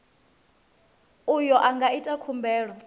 uyo a nga ita khumbelo